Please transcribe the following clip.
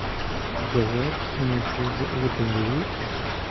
jawaab iimaylkayga ugu dhambeyey